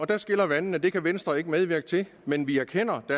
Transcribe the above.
der skiller vandene det kan venstre ikke medvirke til men vi erkender at